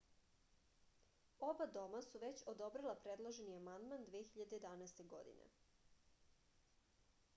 oba doma su već odobrila predloženi amandman 2011. godine